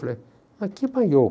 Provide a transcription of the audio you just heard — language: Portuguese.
Eu falei, mas que maiô?